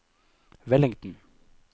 Wellington